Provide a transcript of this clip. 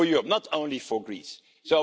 a tragedy not only for Greece but for